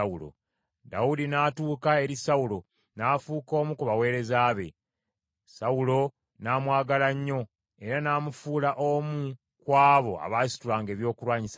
Dawudi n’atuuka eri Sawulo, n’afuuka omu ku baweereza be. Sawulo n’amwagala nnyo, era n’amufuula omu ku abo abaasitulanga ebyokulwanyisa bye.